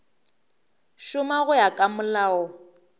šoma go ya ka molao